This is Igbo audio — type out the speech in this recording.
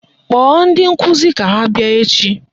Kpọọ ndi nkụzi ka ha bịa echi!